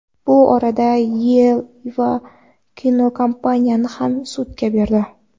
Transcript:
Bu orada Yeva kinokompaniyani ham sudga berdi.